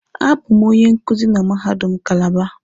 A bụ m onye nkuzi na mahadum Kalaba